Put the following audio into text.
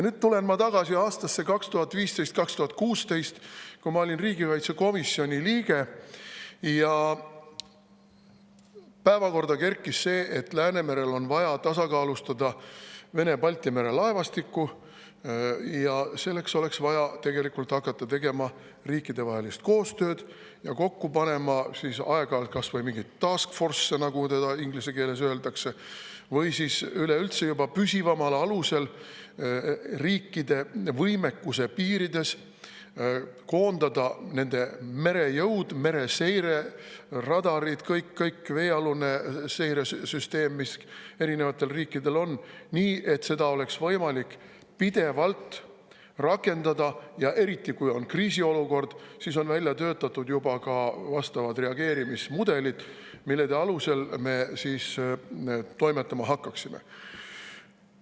Nüüd ma tulen tagasi aastasse 2015 või 2016, kui ma olin riigikaitsekomisjoni liige ja päevakorda kerkis see, et Läänemerel on vaja tasakaalustada Vene Balti mere laevastikku ning selleks oleks vaja tegelikult hakata tegema riikidevahelist koostööd ja kokku panema aeg-ajalt kas või mingeid task force'e, nagu inglise keeles öeldakse, või siis üleüldse juba püsivamal alusel riikide võimekuse piirides koondada nende merejõud, mereseire, radarid, kõik-kõik, veealune seiresüsteem, mis eri riikidel on, nii, et seda oleks võimalik pidevalt rakendada, ja eriti, kui on kriisiolukord, siis oleks välja töötatud juba vastavad reageerimismudelid, mille alusel me toimetama hakkaksime.